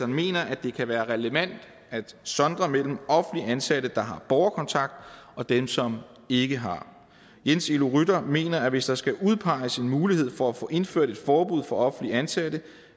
mener at det kan være relevant at sondre mellem offentligt ansatte der har borgerkontakt og dem som ikke har jens elo rytter mener at hvis der skal udpeges en mulighed for at få indført et forbud for offentligt ansatte